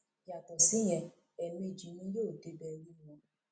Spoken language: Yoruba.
yàtọ síyẹn ẹẹmejì ni yóò débẹ rí wọn